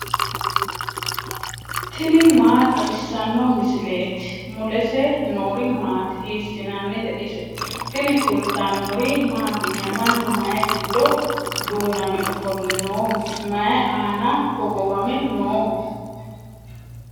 tini maa xawissanno misileeti ? mulese noori maati ? hiissinannite ise ? tini kultannori mattiya? Mannu mayi giddo duunnamme ofolle nooho? may aanna hogowame nooho?